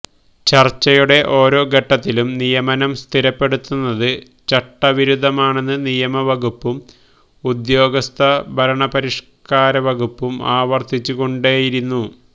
ചര്ച്ചയുടെ ഓരോ ഘട്ടത്തിലും നിയമനം സ്ഥിരപ്പെടുത്തുന്നത് ചട്ടവിരുദ്ധമാണെന്ന് നിയമവകുപ്പും ഉദ്യോഗസ്ഥ ഭരണപരിഷ്ക്കാരവകുപ്പും ആവര്ത്തിച്ചുകൊണ്ടേയിരുന്നു